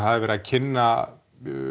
verið að kynna